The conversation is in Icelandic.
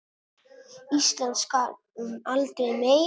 Ísland skal um aldur mey